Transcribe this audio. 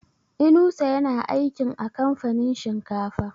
Inusa ya na aikin a kamfanin shinkafa